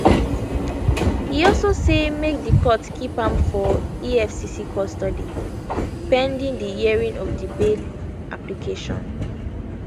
e also say make di court keep am for efcc custody pending di hearing of di bail application